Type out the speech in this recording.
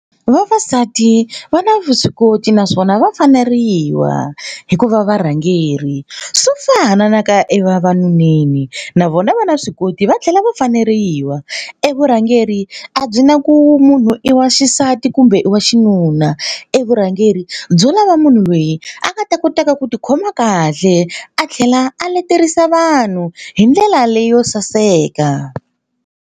Vavasati va na vuswikoti naswona va faneriwa hi ku va varhangeri. Swo fana na ka evavanuneni na vona va na vuswikoti va tlhela va faneriwa. E vurhangeri a byi na ku munhu i wa xisati kumbe i wa xinuna. E vurhangeri byo lava munhu loyi a nga ta kotaka ku tikhoma kahle a tlhela a leterisa vanhu hi ndlela leyo saseka.